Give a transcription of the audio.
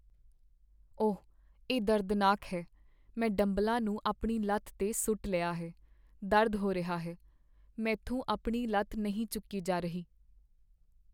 ਓਹ! ਇਹ ਦਰਦਨਾਕ ਹੈ। ਮੈਂ ਡੰਬਲਾਂ ਨੂੰ ਆਪਣੀ ਲੱਤ 'ਤੇ ਸੁੱਟ ਲਿਆ ਹੈ, ਦਰਦ ਹੋ ਰਿਹਾ ਹੈ। ਮੈਂਥੋਂ ਆਪਣੀ ਲੱਤ ਨਹੀਂ ਚੁੱਕੀ ਜਾ ਰਹੀ।